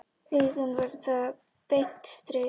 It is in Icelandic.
Augun verða beint strik.